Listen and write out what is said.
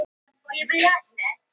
Íbúum gert að yfirgefa heimili sín